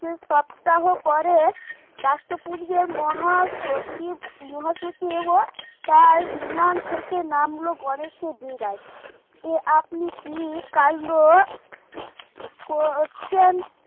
দুই সপ্তাহ পরে রাষ্ট্রপুঞ্জের মহাসচিব মহাসচিব ও তার বিমান থেকে নামলো গণেশের ডেরায় যে আপনি কি কান্ড করছেন